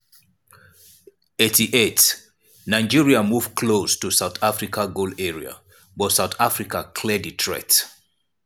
88' nigeria move close to south africa goal area but south africa clear di threat.